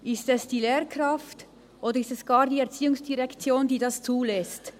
Ist es die Lehrkraft, oder ist es gar die ERZ, die dies zulässt?